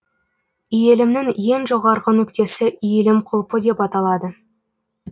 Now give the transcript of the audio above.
иілімнің ең жоғарғы нүктесі иілім құлпы деп аталады